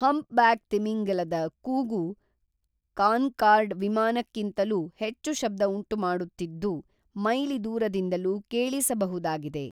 humpback ತಿಮಿಂಗಿಲದ ಕೂಗು Concorde ವಿಮಾನಕ್ಕಿಂತಲೂ ಹೆಚ್ಚು ಶಬ್ದ ಉಂಟುಮಾಡುತ್ತಿದ್ದು ಮೈಲಿ ದೂರದಿಂದಲೂ ಕೇಳಿಸಬಬಹುದಾಗಿದೆ